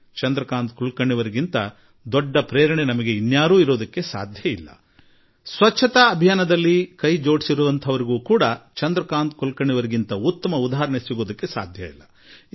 ಚಂದ್ರಕಾಂತ್ ಕುಲಕರ್ಣಿಯವರಿಗಿಂತ ಮತ್ತೊಂದು ದೊಡ್ಡ ಸ್ಫೂರ್ತಿ ನಮಗೆ ಬೇಕಿಲ್ಲ ಹಾಗೂ ಸ್ವಚ್ಛತಾ ಅಭಿಯಾನದ ಜೊತೆ ಗುರುತಿಸಿಕೊಂಡಿರುವವರಿಗೂ ಚಂದ್ರಕಾಂತ್ ಕುಲಕರ್ಣಿಯವರಿಗಿಂತ ಉತ್ತಮ ಉದಾಹರಣೆ ಇಲ್ಲ